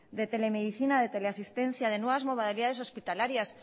de telemedicina de teleasistencia de nuevas modalidades hospitalarias